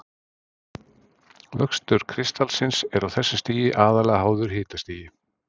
vöxtur kristallsins er á þessu stigi aðallega háður hitastigi